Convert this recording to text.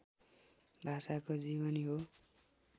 भाषाको जीवनी हो